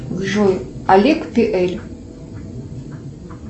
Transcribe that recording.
джой олег пиэль